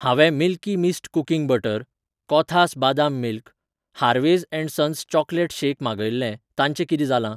हांवें milky mist cooking butter, कोथास बादाम milk, Harvey's and Sons chocolate shake मागयिल्लें ताचें किदें जालां